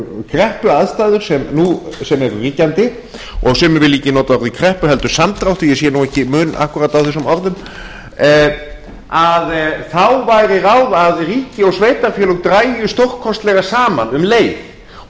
kreppuaðstæður sem eru ríkjandi og sumir vilja ekki nota orðið kreppu heldur samdráttur ég sé nú ekki mun akkúrat á þessum orðum að þá væri ráð að ríki og sveitarfélög drægju stórkostlega saman um leið og